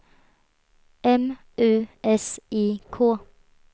M U S I K